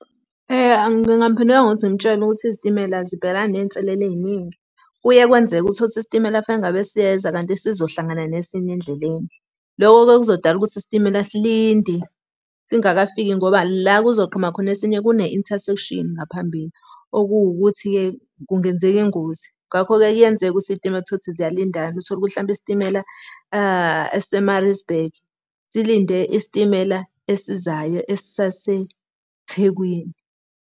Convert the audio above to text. Ngingamphendula ngokuthi ngimtshele ukuthi izitimela zibhekelana ney'nselela ey'ningi. Kuye kwenzeke uthole ukuthi isitimela fanele ngabe siyeza kanti sizohlangana nesinye endleleni. Lokho-ke kuzodala ukuthi isitimela silinde, singakafiki ngoba la kuzoqhamuka khona esinye kune-intersection ngaphambili. Okuwukuthi-ke kungenzeka ingozi, ngakho-ke kuyenzeka ukuthi iy'timela uthole ukuthi ziyalindana. Uthole ukuthi hlampe isitimela esise-Maritzburg, silinde isitimela esizayo esisase-Thekwini.